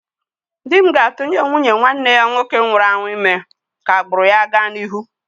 Di m ga-atụnye nwunye nwanne ya nwoke nwụrụ anwụ ime ka agbụrụ ya gaa n'ihu